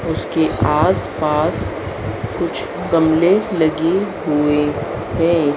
उसके आस पास कुछ गमले लगे हुए है।